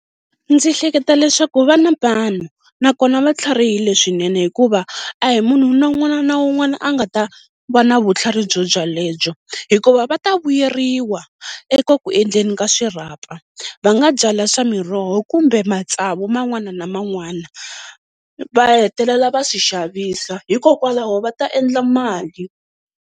Ndzi hleketa leswaku va na vanhu, nakona va tlharihile swinene hikuva a hi munhu na un'wana na un'wana a nga ta va na vutlhari byobyalebyo, hikuva va ta vuyeriwa eka ku endleni ka swirhapa. Va nga byala swa miroho kumbe matsavu man'wana na man'wana va hetelela va swi xavisa hikokwalaho va ta endla mali.